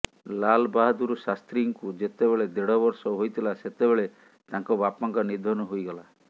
ଲାଲା ବାହଦୂର ଶାସ୍ତ୍ରୀଙ୍କୁ ଯେତେବେଳେ ଦେଢ ବର୍ଷ ହୋଇଥିଲା ସେତେବେଳେ ତାଙ୍କ ବାପାଙ୍କ ନିଧନ ହୋଇଗଲା